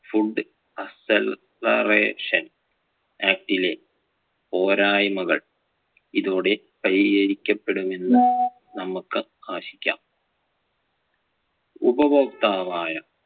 food accelaration act ലെ പോരായ്മകൾ ഇതോടെ പരിഹരിക്കപ്പെടും എന്ന് നമുക്ക് ആശിക്കാം. ഉപവോക്താവായ